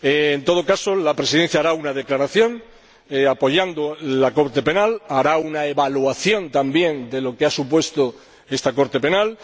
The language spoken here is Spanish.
En todo caso, la Presidencia hará una declaración apoyando a la Corte Penal y hará una evaluación, también, de lo que ha supuesto esta Corte Penal.